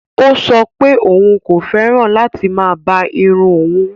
Ọ̀ sọ̀ pẹ̀ ọun kò fẹ́ràn láti má bá ìrùn ọun